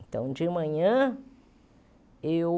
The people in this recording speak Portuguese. Então, de manhã, eu...